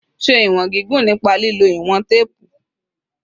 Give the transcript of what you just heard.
Ṣe iwọn gigun nipa lilo iwọn teepu